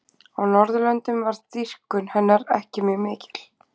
á norðurlöndum varð dýrkun hennar ekki mjög mikil